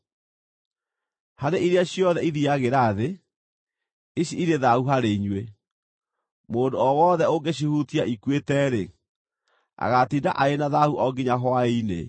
Harĩ iria ciothe ithiiagĩra thĩ, ici irĩ thaahu harĩ inyuĩ. Mũndũ o wothe ũngĩcihutia ikuĩte-rĩ, agaatinda arĩ na thaahu o nginya hwaĩ-inĩ.